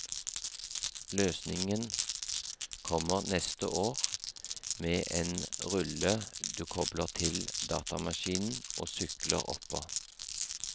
Løsningen kommer neste år, med en rulle du kobler til datamaskinen og sykler oppå.